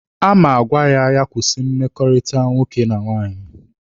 A ma agwa ya ka ọ kwụsị mmekọrịta nwoke na nwaanyị.